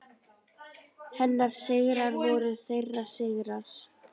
Hennar sigrar voru þeirra sigrar.